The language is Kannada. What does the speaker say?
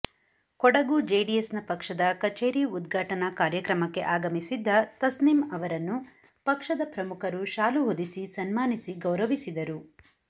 ಕೊಡಗು ಜೆಡಿಎಸ್ನ ಪಕ್ಷದ ಕಚೇರಿ ಉದ್ಘಾಟನಾ ಕಾರ್ಯಕ್ರಮಕ್ಕೆ ಆಗಮಿಸಿದ್ದ ತಸ್ನಿಂ ಅವರನ್ನು ಪಕ್ಷದ ಪ್ರಮುಖರು ಶಾಲು ಹೊದಿಸಿ ಸನ್ಮಾನಿಸಿ ಗೌರವಿಸಿದರು